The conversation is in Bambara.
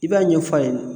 I b'a ɲɛf'a ɲɛna